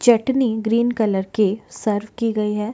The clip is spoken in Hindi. चटनी ग्रीन कलर के सर्व की गई है।